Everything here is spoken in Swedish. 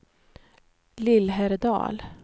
Lillhärdal